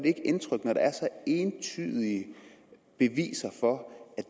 ikke indtryk når der er entydige beviser for at